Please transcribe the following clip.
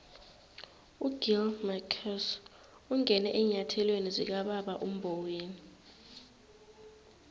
ugill marcus ungene eenyathelweni zikababa umboweni